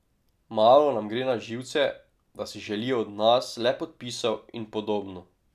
Malo nam gre na živce, da si želijo od nas le podpisov in podobno.